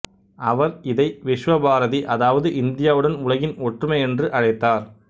அவர் இதை விஸ்வபாரதி அதாவது இந்தியாவுடன் உலகின் ஒற்றுமை என்று அழைத்தார்